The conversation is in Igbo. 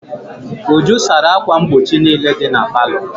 Uju sara ákwà mgbochi niile dị na palọ.